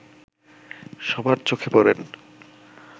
সবার চোখে পড়েন